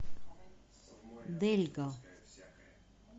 дельго